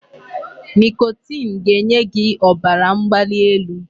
Nicotine ga-enye gị ọbara mgbali elu.